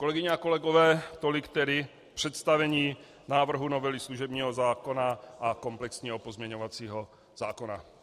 Kolegyně a kolegové, tolik tedy představení návrhu novely služebního zákona a komplexního pozměňovacího zákona.